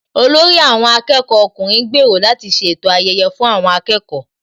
Olórí àwọn akẹ́kọ̀ọ́ ọkùnrin ń gbèrò láti ṣètò ayẹyẹ fún àwọn akẹ́kọ̀ọ́